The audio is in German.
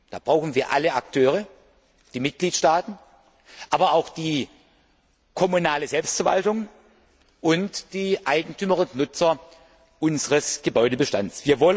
Da brauchen wir alle Akteure, die Mitgliedstaaten, aber auch die kommunale Selbstverwaltung und die Eigentümer und Nutzer unseres Gebäudebestands.